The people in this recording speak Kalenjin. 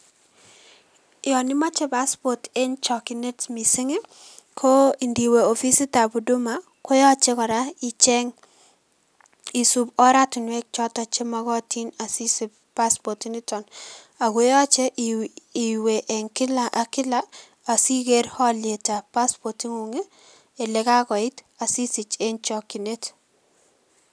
Yoon imoche paspot eng chokyinet mising ko indiwe ofisitab huduma koyoche kora icheng isup oratinwek choton chemokotin asisich paspot initon, ak ko yoche iwee en kilak ak kilak asiker olitab paspot ing'ung asisich en chokyinet.